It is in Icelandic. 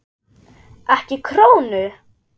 EKKI KRÓNU?